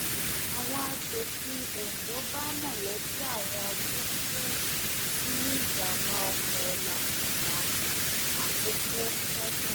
àwọn asòfin ondo bá mọlẹbí àwọn tó kú sínú ìjàmbá oko làkùngbà àkókò kẹdùn